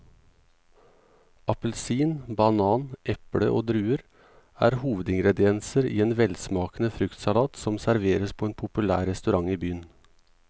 Appelsin, banan, eple og druer er hovedingredienser i en velsmakende fruktsalat som serveres på en populær restaurant i byen.